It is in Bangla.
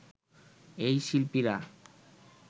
এই শিল্পীরা